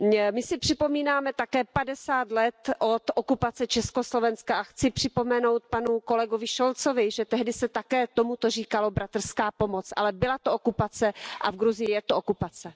My si připomínáme také 50 let od okupace Československa a chci připomenout panu kolegovi Scholzovi, že tehdy se také tomuto říkalo bratrská pomoc, ale byla to okupace a v Gruzii je to okupace.